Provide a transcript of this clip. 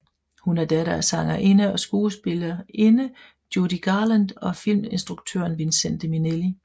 Hun er datter af sangerinde og skuespillerinde Judy Garland og filminstruktøren Vincente Minnelli